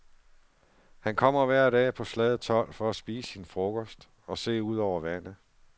Han kommer hver dag på slaget tolv for at spise sin frokost og se ud over vandet.